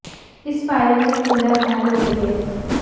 इस फायरिंग में एक महिला घायल हो गई है